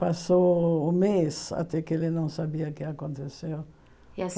Passou um mês até que ele não sabia o que aconteceu. E a